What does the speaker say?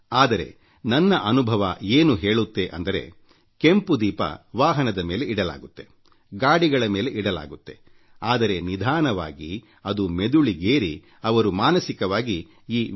ಆದರೆ ನನ್ನ ಅನುಭವ ಏನು ಹೇಳುತ್ತೆ ಅಂದರೆ ಕೆಂಪು ದೀಪ ವಾಹನದ ಮೇಲೆ ಇಡಲಾಗುತ್ತೆ ಗಾಡಿಗಳ ಮೇಲೆ ಇಡಲಾಗುತ್ತೆಆದರೆ ನಿಧಾನವಾಗಿ ಅದು ನೆತ್ತಿಗೇರಿ ಅವರು ಮಾನಸಿಕವಾಗಿ ಈ ವಿ